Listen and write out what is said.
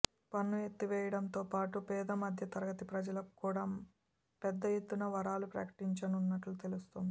పన్ను ఎత్తివేయడంతో పాటు పేదమధ్యతరగతి ప్రజలకు కూడా పెద్ద ఎత్తున వరాలు ప్రకటించనున్నట్లు తెలుస్తోంది